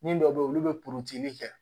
Min dɔ be yen olu be kɛ